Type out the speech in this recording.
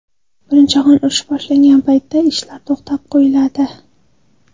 Birinchi jahon urushi boshlangan paytda ishlar to‘xtatib qo‘yiladi.